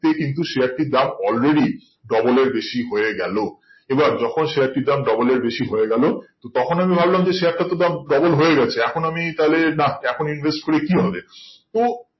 তে কিন্তু share টির দাম alredy এর বেশি হয়ে গেল এবার যখন share টির দাম double এর বেশি হয়ে গেল তখন আমি ভাবলাম যে share টার তো দাম double হয়ে গাছে এখন আমি তাহলে না এখন invest করে কি হবে তো